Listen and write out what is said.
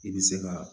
I bɛ se ka